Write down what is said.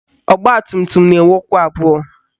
Ọgbatumtum na-enwe ụkwụ abụọ